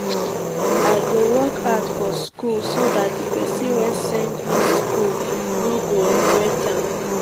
i go work hard for school so dat the person wey send me go school no go regret am